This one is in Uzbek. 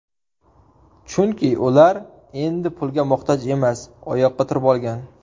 Chunki ular endi pulga muhtoj emas, oyoqqa turib olgan.